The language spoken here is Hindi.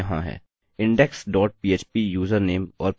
index dot php यूजरनेम और पासवर्ड के साथ